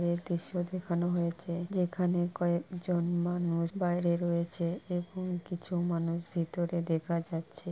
এই দৃশ্য দেখানো হয়েছে। যেখানে কয়েকজন মানুষ বাইরে রয়েছে এবং কিছু মানুষ ভেতরে দেখা যাচ্ছে।